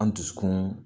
An dusukun